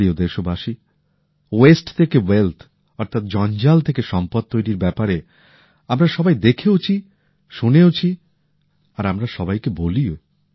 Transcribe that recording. আমার প্রিয় দেশবাসী ওয়েস্ট থেকে ওয়েলথ অর্থাৎ জঞ্জাল থেকে সম্পদ তৈরির ব্যাপারে আমরা সবাই দেখেওছি শুনেওছি আর আমরা সবাইকে বলিও